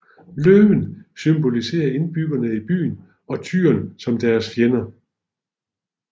Løven symboliserer indbyggerne i byen og tyren som deres fjender